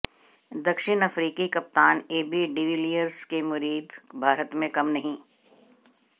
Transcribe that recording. दक्षिण अफ्रीकी कप्तान एबी डीविलियर्स के मुरीद भारत में कम नहीं